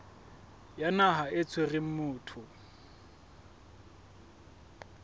ya naha e tshwereng motho